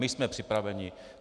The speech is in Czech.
My jsme připraveni.